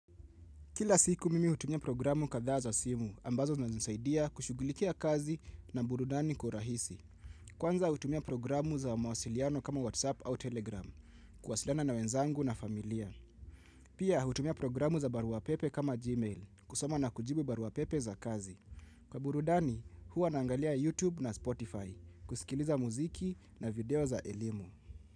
Kila siku mimi hutumia programu kadhaa za simu ambazo zinanisaidia kushughulikia kazi na burudani kwa urahisi. Kwanza hutumia programu za mawasiliano kama WhatsApp au Telegram. Kuwasiliana na wenzangu na familia. Pia hutumia programu za barua pepe kama Gmail. Kusoma na kujibu barua pepe za kazi. Kwa burudani huwa naangalia YouTube na Spotify. Kusikiliza muziki na video za elimu.